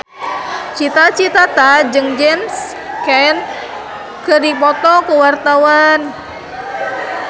Cita Citata jeung James Caan keur dipoto ku wartawan